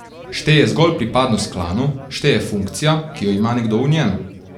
Šteje zgolj pripadnost klanu, šteje funkcija, ki jo ima nekdo v njem.